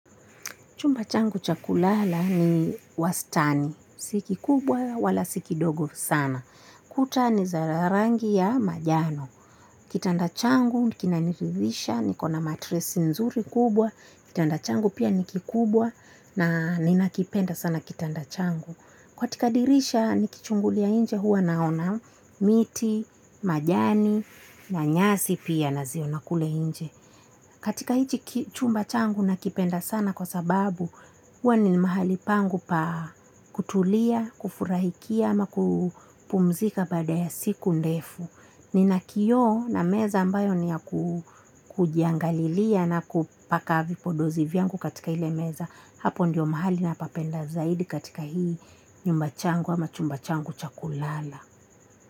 Chumba changu cha kulala ni wastani. Si kikubwa wala si kidogo sana. Kuta ni za rangi ya njano. Kitanda changu ni kinaniridhisha niko na matresi nzuri kubwa. Kitanda changu pia ni kikubwa na ninakipenda sana kitanda changu. Katika dirisha nikichungulia nje huwa naona, miti, majani, na nyasi pia naziona kule nje. Katika hiki chumba changu nakipenda sana kwa sababu huwa ni mahali pangu pa kutulia, kufurahikia, ama kupumzika baada ya siku ndefu. Nina kioo na meza ambayo ni ya kujiangalia na kupaka vipodozi vyangu katika ile meza. Hapo ndiyo mahali napapenda zaidi katika hii nyumba changu ama chumba changu cha kulala.